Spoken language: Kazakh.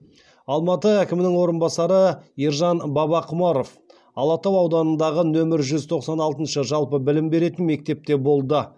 алматы әкімінің орынбасары ержан бабақұмаров алатау ауданындағы нөмір жүз тоқсан алтыншы жалпы білім беретін мектепте болды